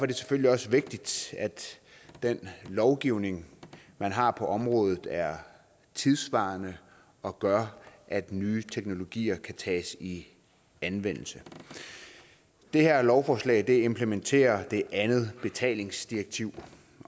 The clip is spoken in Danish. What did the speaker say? det selvfølgelig også vigtigt at den lovgivning man har på området er tidssvarende og gør at nye teknologier kan tages i anvendelse det her lovforslag implementerer det andet betalingsdirektiv